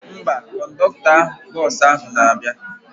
Mba, kọndọktọ bọsụ ahụ na-abịa